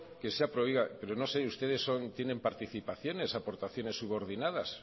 que se ha pero oiga pero no sé ustedes tienen participaciones o aportaciones subordinadas